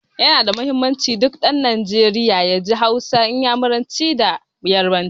Ya na da muhimmanci, duk ɗan Najeriya ya ji Hausa, Inyamuranci da Yarbanci.